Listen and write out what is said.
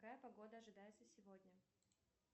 какая погода ожидается сегодня